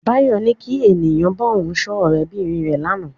Báyọ̀ ní kí èèyàn bá òun sọ ọ̀rẹ́ bìnrin rẹ̀ lánàá.